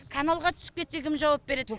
каналға түсіп кетсе кім жауап береді